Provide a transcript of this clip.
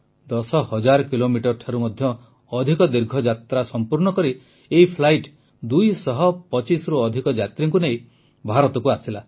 ଦଶ ହଜାର କିଲୋମିଟରଠାରୁ ମଧ୍ୟ ଅଧିକ ଦୀର୍ଘ ଯାତ୍ରା ସମ୍ପୂର୍ଣ୍ଣ କରି ଏହି ଫ୍ଲାଇଟ୍ 225ରୁ ଅଧିକ ଯାତ୍ରୀଙ୍କୁ ନେଇ ଭାରତକୁ ଆସିଲା